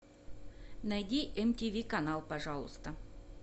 найди мтв канал пожалуйста